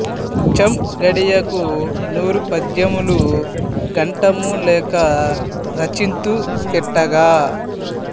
చం గడియకు నూరు పద్యములు గంటము లేక రచింతు తిట్టగా